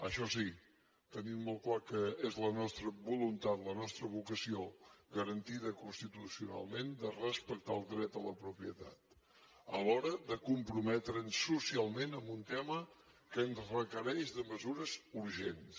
això sí tenint molt clar que és la nostra voluntat la nostra vocació garantida constitucionalment de respectar el dret a la propietat a l’hora de comprometre’ns socialment en un tema que ens requereix mesures urgents